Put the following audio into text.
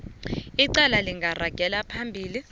icala lingaragela phambili